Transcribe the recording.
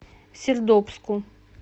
сердобску